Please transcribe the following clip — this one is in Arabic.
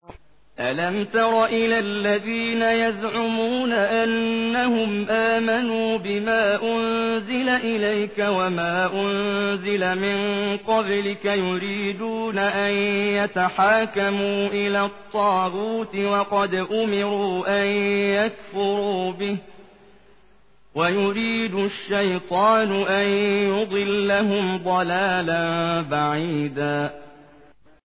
أَلَمْ تَرَ إِلَى الَّذِينَ يَزْعُمُونَ أَنَّهُمْ آمَنُوا بِمَا أُنزِلَ إِلَيْكَ وَمَا أُنزِلَ مِن قَبْلِكَ يُرِيدُونَ أَن يَتَحَاكَمُوا إِلَى الطَّاغُوتِ وَقَدْ أُمِرُوا أَن يَكْفُرُوا بِهِ وَيُرِيدُ الشَّيْطَانُ أَن يُضِلَّهُمْ ضَلَالًا بَعِيدًا